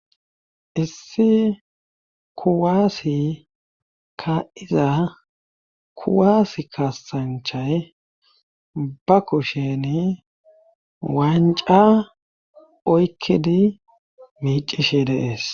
Issi kuwaasi ka'iza kuwaas kaasanchay ba kushen wanca oykkidi miicishe deees